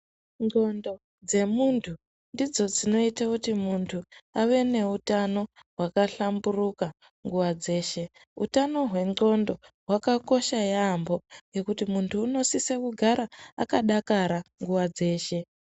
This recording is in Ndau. Ndxondo dzemuntu ndidzo dzinoita kuti muntu ave neutano hwakahlamburuka nguva dzeshe hutano hwendxondo hwakakosha yaamho nekuti munhu anosisa kugara akadakara nguva dzeshe .